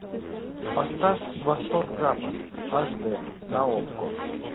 поставь восток запад аш д на окко